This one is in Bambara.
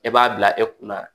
E b'a bila e kunna